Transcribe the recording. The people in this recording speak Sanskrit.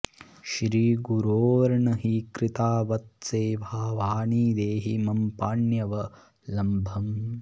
श्रीगुरोर्न हि कृता बत सेवा वाणि देहि मम पाण्यवलम्बम्